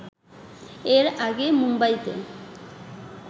এর আগে মুম্বাইতে